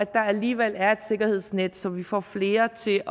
der alligevel er et sikkerhedsnet så vi får flere til at